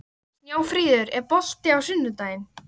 Snjáfríður, er bolti á sunnudaginn?